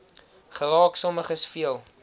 geraak sommiges veel